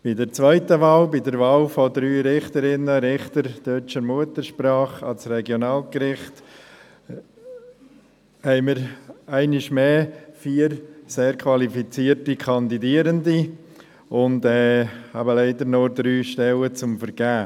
Bei der zweiten Wahl, der Wahl von drei Richterinnen und Richtern deutscher Muttersprache an das Regionalgericht, haben wir einmal mehr vier sehr qualifizierte Kandidierende und leider nur drei Stellen zu vergeben.